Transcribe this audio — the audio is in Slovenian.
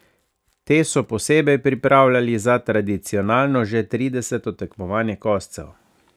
Te so posebej pripravljali za tradicionalno, že trideseto tekmovanje koscev.